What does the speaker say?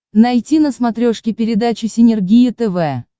найти на смотрешке передачу синергия тв